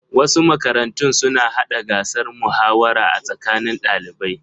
Wasu makarantun suna hada gasar muhawara a tsakanin ɗalibai.